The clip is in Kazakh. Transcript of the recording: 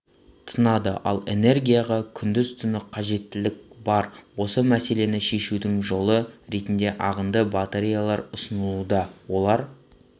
тынады ал энергияға күндіз-түні қажеттілік бар осы мәселені шешудің жолы ретінде ағынды батареялар ұсынылуда олар